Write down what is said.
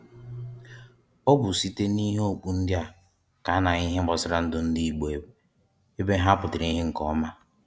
Ọ bụ site n’ihe ọkpụ ndị a ka a na-ahụ ihe gbasara ndụ ndị Igbo ebe ha pụtara ihe nke ọma